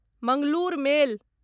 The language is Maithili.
मंगलूर मेल